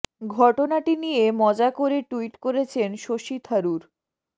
ঘটনাটি নিয়ে মজা করে ট্যুইট করেছেন শশী থারুর